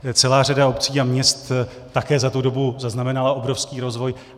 Celá řada obcí a měst také za tu dobu zaznamenala obrovský rozvoj.